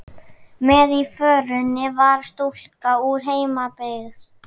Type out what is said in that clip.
Með í förinni var stúlka úr heimabyggð